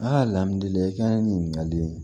i ka nin ɲininkali in